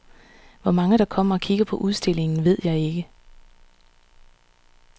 Hvor mange der kommer og kigger på udstillingen, ved jeg ikke.